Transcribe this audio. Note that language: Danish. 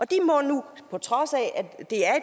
de må nu på trods af at det er